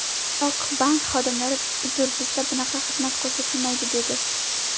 Biroq bank xodimlari ‘Uzr, bizda bunaqa xizmat ko‘rsatilmaydi’, dedi.